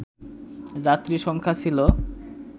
যাত্রী সংখ্যা ছিল